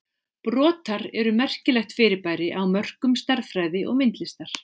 Brotar eru merkilegt fyrirbæri á mörkum stærðfræði og myndlistar.